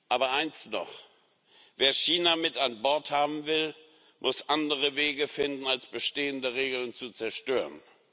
Aber eins noch Wer China mit an Bord haben will, muss andere Wege finden als bestehende Regeln zu zerstören.